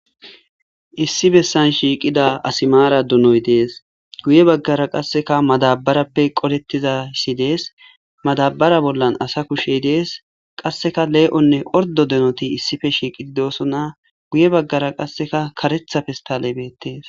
issi bessan shiiqida asimaara dunoy dees guye baggara qasseka madabarappe qolettizayssi dees madabara bollan asa kushey dees qasseka lee7onne ordo denoti issife shiiqidi doosona guye baggara qasseka karetha pestale betees